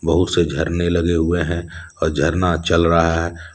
बहुत से झरने लगे हुए हैं और झरना चल रहा है।